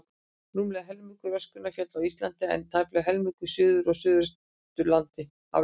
Rúmlega helmingur öskunnar féll á Íslandi, en tæplega helmingur suður og suðaustur af landinu.